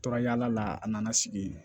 Tora yaala la a nana sigi